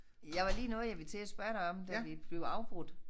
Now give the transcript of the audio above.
Jeg var lige noget jeg ville til at spørge dig om da vi blev afbrudt